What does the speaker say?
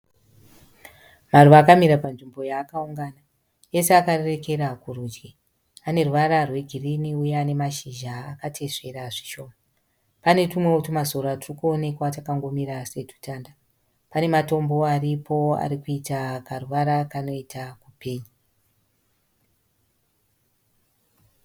Maruva akamira panzvimbo yaakaungana. Ese akarerekera kurudyi. Ane ruvara rwegirini neane mashizha akateswera zvishoma. Pane tumwewo tuma sora turi kuonekwa twakangomira setutanda. Pane matombo aripowo arikuita karuvara kanoita kupenya.